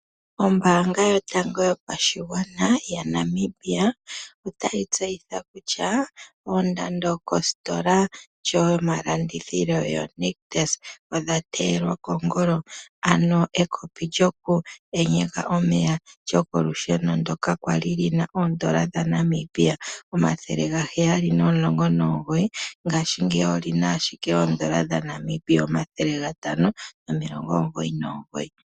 Ombaanga yotango yopashigwana yaNamibia otayi tseyitha kutya oondando kositola yedhina Nictus odha teyelwa kongolo. Ekopi lyokuyenyeka omeya lyokolusheno ndyoka lya li li na N$ 719, ngaashingeyi oli na ashike ooN$ 599.